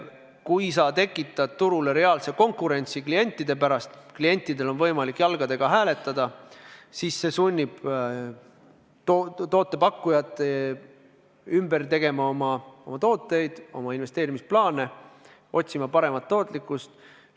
Kui sa tekitad turul reaalse konkurentsi klientide pärast – klientidel on võimalik jalgadega hääletada –, siis see sunnib toote pakkujaid ümber tegema oma tooteid, oma investeerimisplaane, otsima paremat tootlikkust.